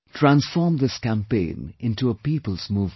Transform this campaign into a peoples' movement